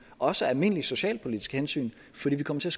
også af almindelige socialpolitiske hensyn fordi vi kommer til